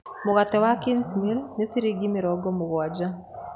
Mũgate wa Kingsmill nĩ ciringi mĩrongo mũgwanja.